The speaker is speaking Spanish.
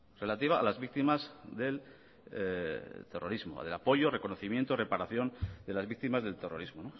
relativa a las víctimas del terrorismo del apoyo reconocimiento reparación de las víctimas del terrorismo